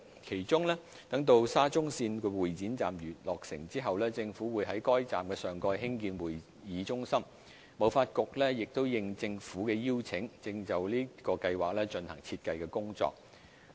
其中，待沙中線會展站落成後，政府會在該站上蓋興建會議中心；香港貿易發展局應政府邀請，正就此計劃進行設計工作。